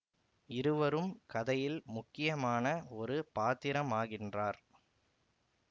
இவரும் கதையில் முக்கியமான ஒரு பாத்திரமாகின்றார்